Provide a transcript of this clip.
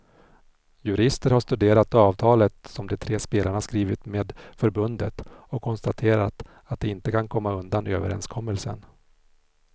Jurister har studerat avtalet som de tre spelarna skrivit med förbundet och konstaterat att de inte kan komma undan överenskommelsen.